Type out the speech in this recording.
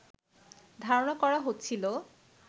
ধারণা করা হচ্ছিল